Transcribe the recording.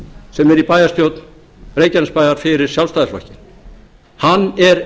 sem er í bæjarstjórn reykjanesbæjar fyrir sjálfstæðisflokkinn hann er